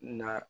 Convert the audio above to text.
Na